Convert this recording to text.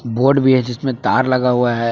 Board भी है जिसमें तार लगा हुआ है।